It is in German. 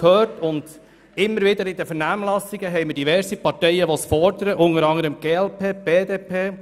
In den Vernehmlassungen gibt es jeweils diverse Parteien, die das immer wieder fordern, unter anderem die glp und die BDP.